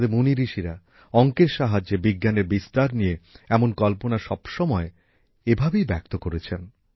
আমাদের মুনিঋষিরা অঙ্কের সাহায্যে বিজ্ঞানের বিস্তার নিয়ে এমন কল্পনা সব সময় এভাবেই ব্যক্ত করেছেন